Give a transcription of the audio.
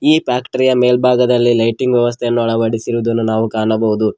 ಈ ಫ್ಯಾಕ್ಟರಿಯ ಮೇಲ್ಭಾಗದಲ್ಲಿ ಲೈಟಿಂಗ್ ವ್ಯವಸ್ಥೆಯನ್ನು ಅಳವಡಿಸಿರುವುದನು ನಾವು ಕಾಣಬಹುದು.